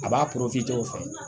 A b'a cogo fɛn